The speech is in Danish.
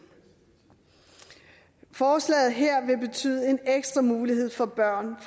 forslaget her vil betyde en ekstra mulighed for at børn